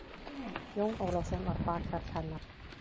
Jón Ólafsson var bakhjarl hennar.